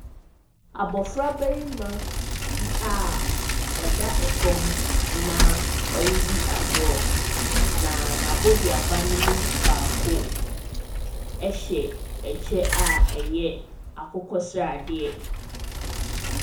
Abɔfra barima bi a ɔda fam na ɔredi agorɔ, na n’aboduaba ne me baako hyɛ kyɛ a ɛyɛ akokɔsradeɛ.